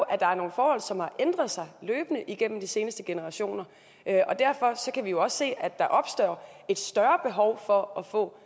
at der er nogle forhold som har ændret sig løbende igennem de seneste generationer og derfor kan vi jo også se at der er opstået et større behov for at få